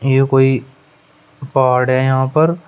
ये कोई पहाड़ है यहां पर।